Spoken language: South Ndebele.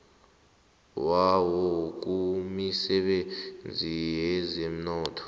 wawo kumisebenzi yezomnotho